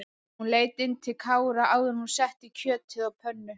Hún leit inn til Kára áður en hún setti kjötið á pönnu.